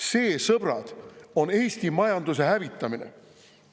See, sõbrad on, Eesti majanduse hävitamine.